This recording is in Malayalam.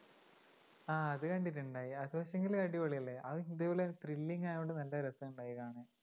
ആ അത് കണ്ടിട്ടുണ്ടായി അത് പക്ഷേങ്കില് അടിപൊളിയല്ലേ? അത് ഇതുപോലെ ഒരു thrilling ആയതുകൊണ്ട് നല്ല രസമുണ്ടായി കാണാൻ